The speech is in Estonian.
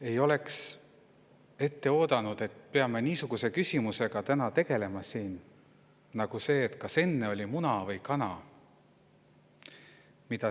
Ei oleks oodanud, et peame siin täna tegelema niisuguse küsimusega nagu see, mida eelnev kolleeg siin esitas: kas enne oli muna või kana.